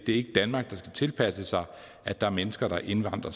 ikke danmark der skal tilpasse sig at der er mennesker der indvandrer